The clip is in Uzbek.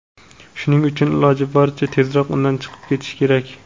shuning uchun iloji boricha tezroq undan chiqib ketish kerak.